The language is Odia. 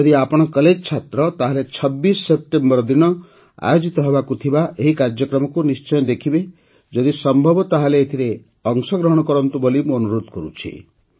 ଯଦି ଆପଣ କଲେଜ୍ ଛାତ୍ର ତାହେଲେ ୨୬ ସେପ୍ଟେମ୍ବର ଦିନ ଆୟୋଜିତ ହେବାକୁ ଥିବା ଏହି କାର୍ଯ୍ୟକ୍ରମକୁ ନିଶ୍ଚୟ ଦେଖିବେ ଯଦି ସମ୍ଭବ ତା ହେଲେ ଏଥିରେ ଅଂଶଗ୍ରହଣ କରନ୍ତୁ ବୋଲି ମୁଁ ଅନୁରୋଧ କରୁଛି